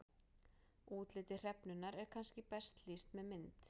Útliti hrefnunnar er kannski best lýst með mynd.